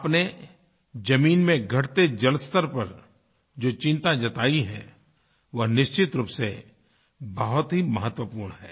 आपने जमीन में घटते जलस्तर पर जो चिंता जताई है वह निश्चित रूप से बहुत ही महत्वपूर्ण है